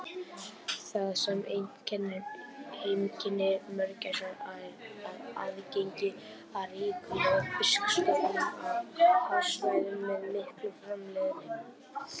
Það sem einkennir heimkynni mörgæsa er aðgengi að ríkulegum fiskistofnum á hafsvæðum með mikla framleiðni.